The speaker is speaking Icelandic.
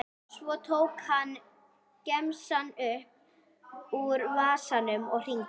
Svo tók hann gemsann upp úr vasanum og hringdi.